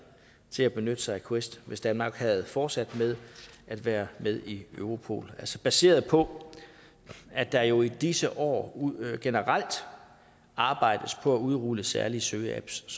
til at benytte sig af quest hvis danmark havde fortsat med at være med i europol baseret på at der jo i disse år generelt arbejdes på at udrulle særlige søgeapps